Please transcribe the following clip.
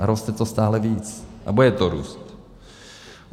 A roste to stále víc a bude to růst.